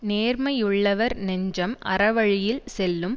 நேர்மையுள்ளவர் நெஞ்சம் அறவழியில் செல்லும்